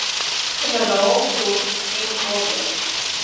generaal dot mkb